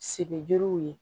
Sigiw ye